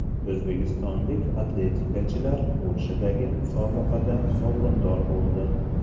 O‘zbekistonlik atletikachilar Polshadagi musobaqada sovrindor bo‘ldi.